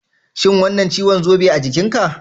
Shin wannan ciwon zobe a jikinka?